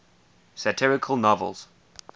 satirical novels